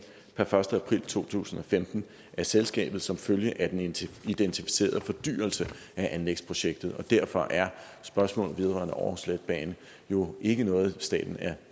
per første april to tusind og femten af selskabet som følge af den identificerede fordyrelse af anlægsprojekter og derfor er spørgsmålet vedrørende aarhus letbane jo ikke noget staten er